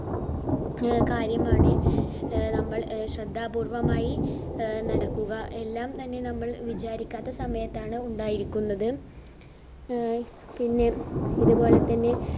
ആഹ് കാര്യമാണ് ആഹ് നമ്മൾ അഹ് ശ്രദ്ധാപൂർവമായി ആഹ് നടക്കുക. എല്ലാം തന്നെ നമ്മൾ വിചാരിക്കാത്ത സമയത്താണ് ഉണ്ടായിരിക്കുന്നത് ആഹ് പിന്നെ ഇത് പോലെ തന്നെ